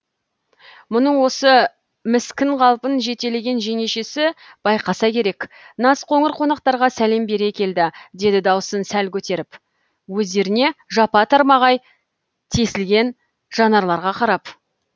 мұның осы міскін қалпын жетелеген жеңешесі байқаса керек назқоңыр қонақтарға сәлем бере келді деді даусын сәл көтеріп өздеріне жапа тармағай тесілген жанарларға қарап